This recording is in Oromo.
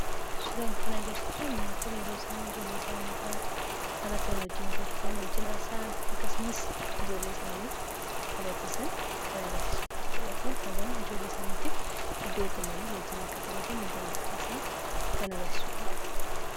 Suuraan kun kan agarsiisu maatiin yeroo ijoollee isaanii faana taphatan, wajjin kolfan, kan wajjin haasa'an akkasumas ijoollee isaanii taphachiisan kan agarsiisudha jechuudha. Kun hagam ijoollee isaaniitiif iddoo kennanii wajjin akka taphatan , wajjin akka haasa'an kan agarsiisudha.